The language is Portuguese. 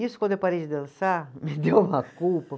Isso, quando eu parei de dançar, me deu uma culpa.